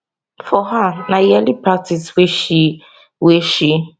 for her na yearly practice wey she wey she